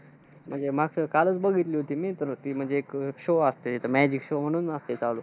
म्हणजे मागच्या वेळी, कालच बघितली होती मी तर ती म्हणजे एक show असतं. Magic show म्हणून असतंय चालू.